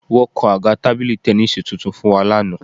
Wọ́n kan àga tábìlì tẹníìsì tuntun fún wa lánàá